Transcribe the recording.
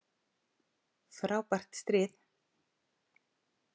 Frábært stríð!